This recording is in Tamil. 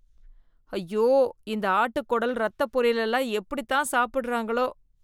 ஐயோ இந்த ஆட்டு குடல் ரத்த பொரியல் எல்லாம் எப்படி தான் சாப்பிடறாங்களோ?